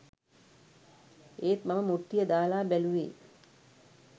ඒත් මම මුට්ටිය දාලා බැලුවේ